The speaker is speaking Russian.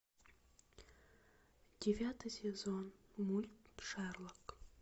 девятый сезон мульт шерлок